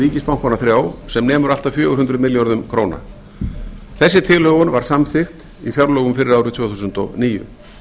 ríkisbankana þrjá sem nemur allt að fjögur hundruð milljörðum króna þessi tilhögun var samþykkt í fjárlögum fyrir árið tvö þúsund og níu